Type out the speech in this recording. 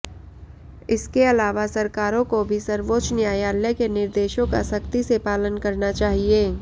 इसके अलावा सरकारों को भी सर्वोच्च न्यायालय के निर्देशों का सख्ती से पालन करना चाहिए